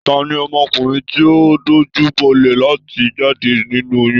Tani ọmọkùnrin ti o dojubolẹ láti jáde nínú oyún?